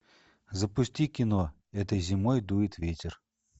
запусти кино этой зимой дует ветер